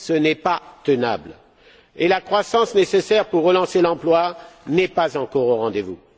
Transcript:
Ce n'est pas tenable et la croissance nécessaire pour relancer l'emploi n'est pas encore au rendez vous.